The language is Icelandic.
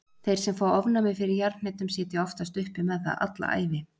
Þeir sem fá ofnæmi fyrir jarðhnetum sitja oftast uppi með það alla ævi.